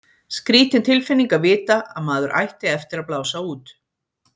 Skrýtin tilfinning að vita að maður ætti eftir að blása út.